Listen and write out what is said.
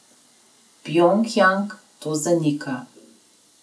Pjongjang to zanika.